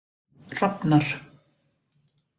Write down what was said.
Hrafnar